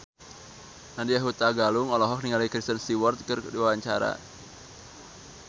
Nadya Hutagalung olohok ningali Kristen Stewart keur diwawancara